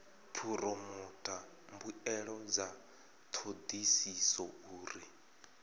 phoromotha mbuelo dza thodisiso uri